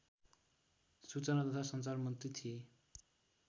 सूचना तथा सञ्चार मन्त्री थिए